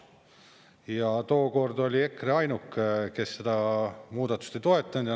Ja tookord oli EKRE ainuke, kes seda muudatust ei toetanud.